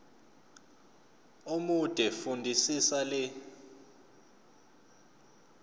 omude fundisisa le